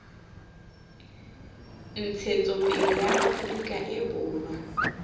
ntshetsopele ya aforika e borwa